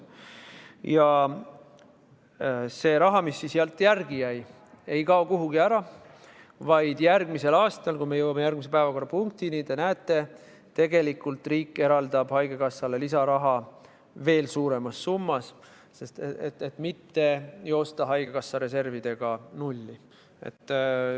Ja see raha, mis sealt järele jäi, ei kao kuhugi ära, vaid järgmisel aastal – kui me jõuame järgmise päevakorrapunktini, siis te näete – eraldab riik haigekassale lisaraha veel suuremas summas, et mitte joosta haigekassa reservidega nulli.